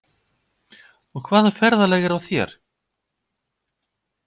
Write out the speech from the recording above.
Og hvaða ferðalag er á þér?